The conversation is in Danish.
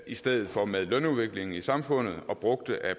i stedet for med lønudviklingen i samfundet og brugte af